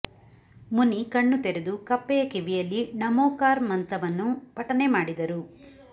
ಮುನಿ ಕಣ್ಣು ತೆರೆದು ಕಪ್ಪೆಯ ಕಿವಿಯಲ್ಲಿ ಣಮೋಕಾರ್ ಮಂತವನ್ನು ಪಟನೆ ಮಾಡಿದರು